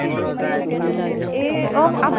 এহ অপ